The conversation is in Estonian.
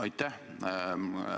Aitäh!